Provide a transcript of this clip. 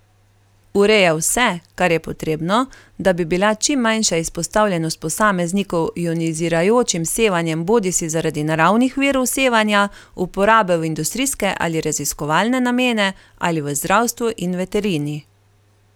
Ureja vse, kar je potrebno, da bi bila čim manjša izpostavljenost posameznikov ionizirajočim sevanjem bodisi zaradi naravnih virov sevanja, uporabe v industrijske ali raziskovalne namene ali v zdravstvu in veterini.